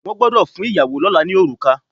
Wọ́n gbọ́dọ̀ fún ìyàwó lọ́là ní orùkà.